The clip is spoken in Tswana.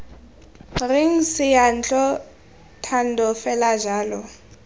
reng seyantlo thando fela jalo